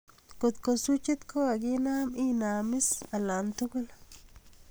kotko swichit kokaginam inam is alk tugul